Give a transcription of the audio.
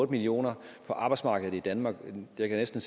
millioner på arbejdsmarkedet i danmark jeg kan næsten